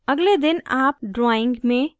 अगले दिन आप drawing में रूपांतरण कर सकते हैं